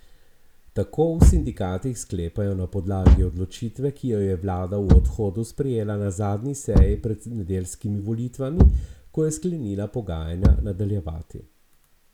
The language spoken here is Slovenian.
Družbeniki se dogovorijo, da bodo stadion skupaj obnavljali in upravljali.